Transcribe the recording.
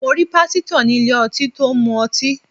Mo rí Pásítọ̀ ní ilé ọtí tó ń mu ọtí.